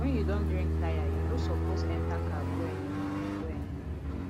when you don drink tire you no suppose enter car go anywhere go anywhere